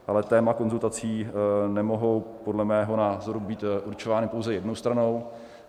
Ale témata konzultací nemohou podle mého názoru být určována pouze jednou stranou.